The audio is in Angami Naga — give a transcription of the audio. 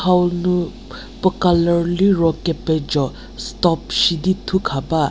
hau nu puo colour liro kepejo stop shidi thu khaba.